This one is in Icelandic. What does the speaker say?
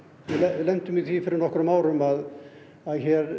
lentum í því fyrir nokkrum árum að það